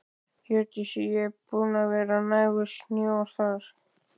Hjördís: Og er búið að vera nægur snjór þar?